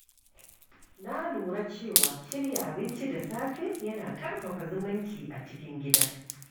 Na lura cewa shirya abinci da safe yana ƙarfafa zumunci a cikin gida.